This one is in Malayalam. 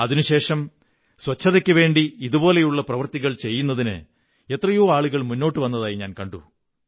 അതിനുശേഷം ശുചിത്വത്തിനുവേണ്ടി ഇതുപോലെയുള്ള പ്രവൃത്തികൾ ചെയ്യുന്നതിന് എത്രയോ ആളുകൾ മുന്നോട്ടു വന്നതായി കണ്ടു